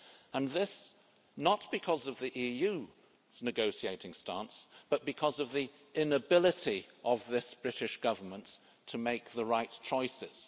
And this, not because of the EU's negotiating stance, but because of the inability of this British Government to make the right choices.